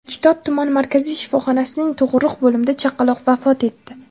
Kitob tuman markaziy shifoxonasining tug‘uruq bo‘limida chaqaloq vafot etdi.